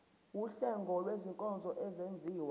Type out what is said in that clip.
wuhlengo lwezinkonzo ezenziwa